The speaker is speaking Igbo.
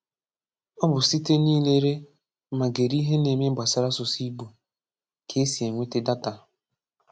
Ọ bụ sịté n’ílèrè ma gèrè ihe na-eme gbasàrà asụ̀sụ́ Ìgbò ka e sị nwetà dátà.